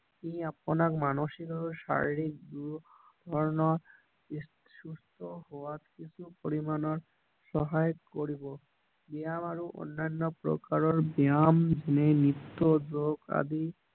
ই আপোনাক মানসিক আৰু শাৰীৰিক দুয়ো ধৰণৰ সুস্থ হোৱাত কিছু পৰিমাণৰ সহায় কৰিব ব্যায়াম আৰু অন্যান্য প্ৰকাৰৰ ব্যায়াম নিত্য যোগ আদি